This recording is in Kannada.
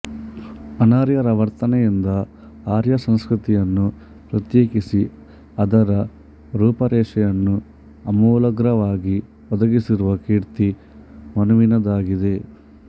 ಅನಾರ್ಯರ ವರ್ತನೆಯಿಂದ ಆರ್ಯಸಂಸ್ಕೃತಿಯನ್ನು ಪ್ರತ್ಯೇಕಿಸಿ ಅದರ ರೂಪರೇಷೆಯನ್ನು ಅಮೂಲಾಗ್ರವಾಗಿ ಒದಗಿಸಿರುವ ಕೀರ್ತಿ ಮನುವಿನದಾಗಿದೆ